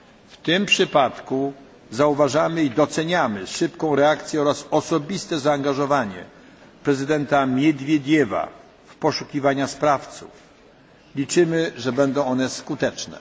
W tym przypadku zauważamy i doceniamy szybką reakcję oraz osobiste zaangażowanie prezydenta Miedwiediewa w poszukiwanie sprawców i liczymy, że będą one skuteczne.